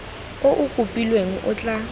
o o kopilweng o tla